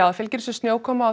það fylgir þessu snjókoma og